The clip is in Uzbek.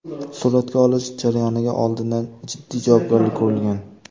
Suratga olish jarayoniga oldindan jiddiy tayyorgarlik ko‘rilgan.